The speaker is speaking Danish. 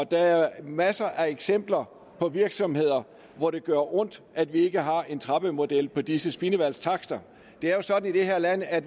der er masser af eksempler på virksomheder hvor det gør ondt at vi ikke har en trappemodel på disse spildevandstakster det er jo sådan i det her land at